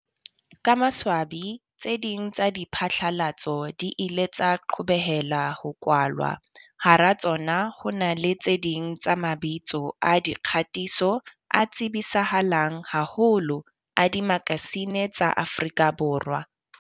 Ka maswabi, tse ding tsa diphatlalatso di ile tsa qobeleha ho kwalwa, hara tsona ho na le tse ding tsa mabitso a dikgatiso a tsebisahalang haholo a dimakasine tsa Afrika Borwa.